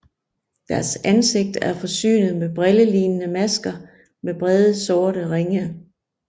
Deres ansigter er forsynet med brillelignende masker med brede sorte ringe